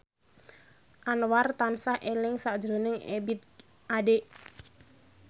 Anwar tansah eling sakjroning Ebith Ade